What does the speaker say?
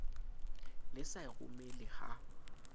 ne sa e romele ha